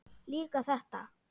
Líka þetta.